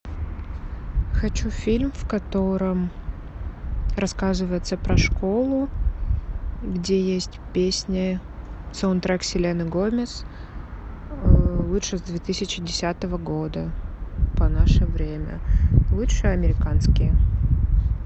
хочу фильм в котором рассказывается про школу где есть песни саундтрек селены гомес лучше с две тысячи десятого года по наше время лучше американские